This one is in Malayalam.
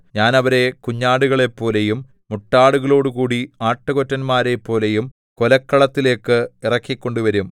ഞാൻ അവരെ കുഞ്ഞാടുകളെപ്പോലെയും മുട്ടാടുകളോടുകൂടി ആട്ടുകൊറ്റന്മാരെപ്പോലെയും കൊലക്കളത്തിലേക്ക് ഇറക്കിക്കൊണ്ടുവരും